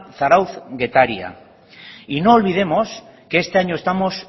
zarautz getaria y no olvidemos que este año estamos